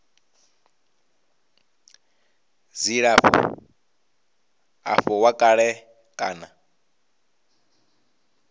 dzilafho avho wa kale kana